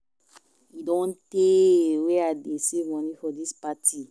E don tey wey I dey save money for dis party